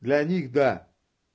для них да